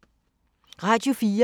Radio 4